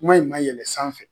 Kuma in ma yɛlɛn sanfɛ